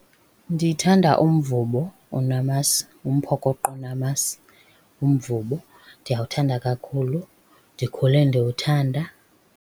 Ndithanda umvubo onamasi, umphokoqo onamasi, umvubo. Ndiyawuthanda kakhulu, ndikhule ndiwuthanda.